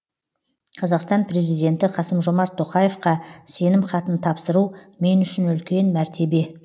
қазақстан президенті қасым жомарт тоқаевқа сенім хатын тапсыру мен үшін үлкен мәртебе